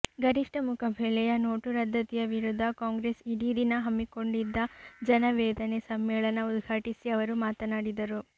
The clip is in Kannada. ಗರಿಷ್ಠ ಮುಖಬೆಲೆಯ ನೋಟು ರದ್ದತಿಯ ವಿರುದ್ಧ ಕಾಂಗ್ರೆಸ್ ಇಡೀ ದಿನ ಹಮ್ಮಿಕೊಂಡಿದ್ದ ಜನವೇದನೆ ಸಮ್ಮೇಳನ ಉದ್ಘಾಟಿಸಿ ಅವರು ಮಾತನಾಡಿದರು